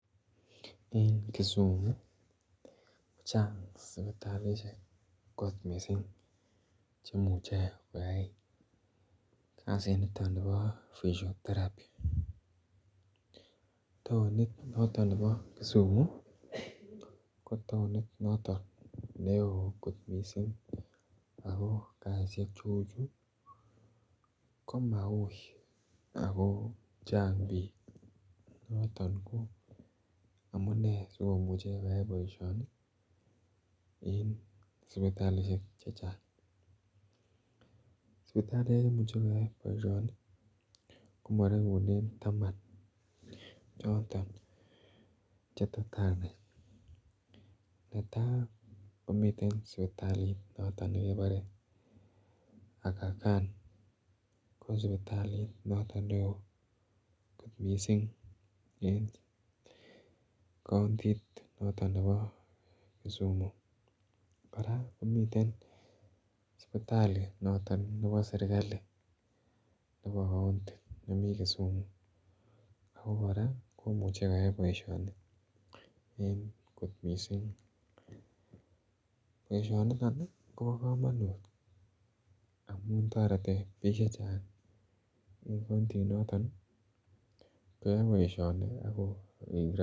En kisumu kochang sipitalishek kot missing chemuche koyay kazi niton nebo physiotherapy tounit noton nebo kisumu ko tounit noton ne oo kot missing ako kazishek che uu chu ko mauu ako Chang biik ako noton amune si komuche koyay boisioni en sipitalishek chechang. Sipitalishek chemuche koyay boisioni ko moregunen taman choton che tot anai, netaa komiten sipitalit noton nekebore Aga Khan ko sipitalit noton ne oo kot missing en kountit noton nebo kisumu koraa komiten sipitalit noton nebo serkali nebo kounti nemii kisumu ako koraa komuche koyay boisioni en kot missing, boisioni niton ii Kobo komonut amun toreti biik chechang en kounti noton koyay boisioni.